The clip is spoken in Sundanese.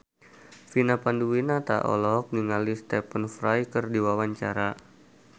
Vina Panduwinata olohok ningali Stephen Fry keur diwawancara